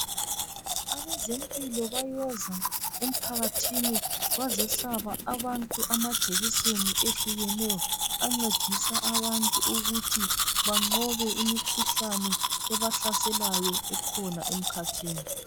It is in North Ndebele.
Abezempilo bayeza emphakathini bazohlaba abantu amajekiseni ahlukeneyo ancedisa abantu ukuthi banqobe imkhuhlane ebahlaselayo ekhona emkhathini.